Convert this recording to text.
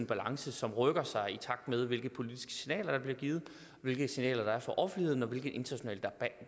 balance som rykker sig i takt med hvilke politiske signaler der bliver givet hvilke signaler der er fra offentligheden og hvilken international